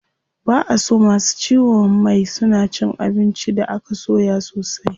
Ba a so masu ciwon mai suna cin abinci da aka soya sosai.